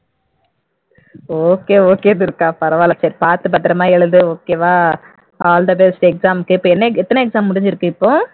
okay okay Durga பரவால்ல சரி பார்த்து பத்திரமா எழுது okay வா all the best exam க்கு இப்போ என்ன எத்தன exam முடிஞ்சு இருக்கு இப்போ